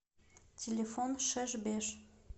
телефон шеш беш